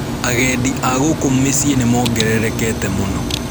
Agendi a gũkũ miciĩ nĩmongererekete mũno.